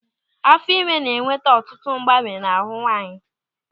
Afọ ime na-eweta ọtụtụ mgbanwe n'ahụ nwaanyị.